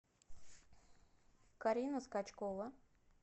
карина скачкова